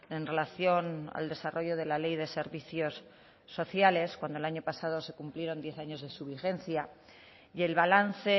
en relación al desarrollo de la ley de servicios sociales cuando el año pasado se cumplieron diez años de su vigencia y el balance